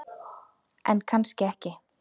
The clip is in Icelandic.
En kannski ekki.